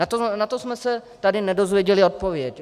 Na to jsme se tady nedozvěděli odpověď.